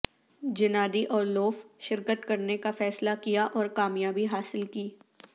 Gennady Orlov شرکت کرنے کا فیصلہ کیا اور کامیابی حاصل کی